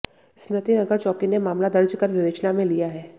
स्मृति नगर चौकी ने मामला दर्ज कर विवेचना में लिया है